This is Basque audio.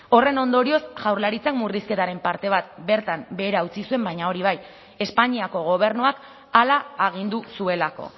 horren ondorioz jaurlaritzak murrizketaren parte bat bertan behera utzi zuen baina hori bai espainiako gobernuak hala agindu zuelako